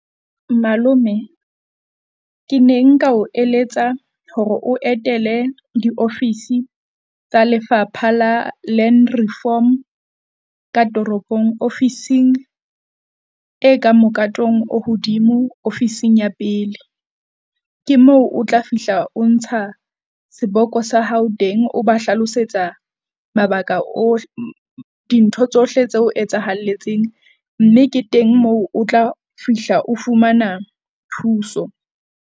Malome ke ne nka o eletsa hore o etele diofisi tsa Lefapha la Land Reform ka toropong ofising e ka mokatong o hodimo ofising ya pele. Ke moo o tla fihla o ntsha seboko sa hao teng, o ba hlalosetsa mabaka dintho tsohle tseo etsahelletseng, mme ke teng moo o tla fihla o fumana thuso.